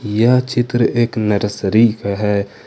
यह चित्र एक नर्सरी का है।